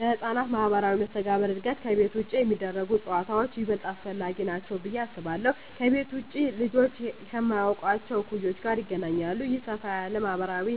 ለሕፃናት ማኅበራዊ መስተጋብር እድገት ከቤት ውጭ የሚደረጉ ጨዋታዎች ይበልጥ አስፈላጊ ናቸው ብዬ አስባለሁ። ከቤት ውጭ ልጆች ከማያውቋቸው እኩዮች ጋር ይገናኛሉ። ይህ ሰፋ ያለ ማኅበራዊ